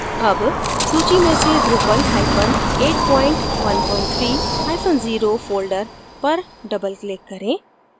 double सूची में से drupal hyphen 813 hyphen 0 folder पर double click करें